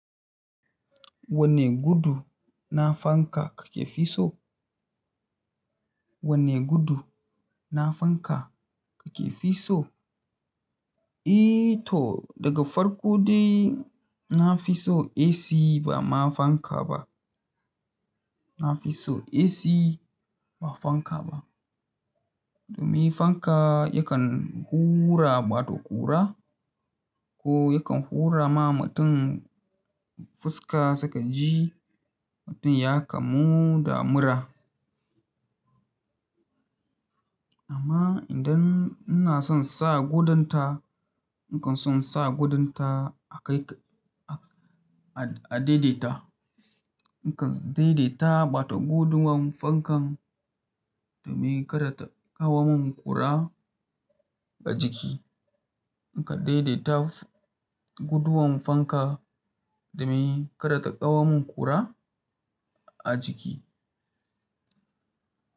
Wane gudu na fanka kake fi so? Wane gudu na fanka kake fi so? E to daga farko dai na fi so AC ba ma fanka ba. Na fi so AC ba fanka ba. Domin fanka yakan hura bata kura ko yakan hura ma mutum fuska sakaji mutum ya kamu da mura. Amma idan ina son sa gudunta, nakan son sa gudunta a kai a daidaita. Nakan daidaita mata gudun fankan domin kada ta kawo min kura a jiki. Nakan daidaita guduwan fanka domin kada ta kawo min kura a jiki.